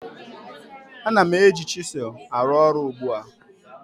Ana m eji chisel arụ ọrụ ugbu a